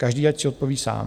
Každý ať si odpoví sám.